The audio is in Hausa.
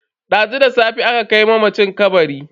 Dazu da safe aka kai mamaci kabari.